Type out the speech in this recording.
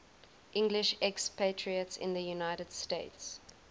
english expatriates in the united states